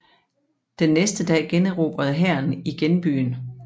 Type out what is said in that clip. Den næste dag generobrede hæren igen byen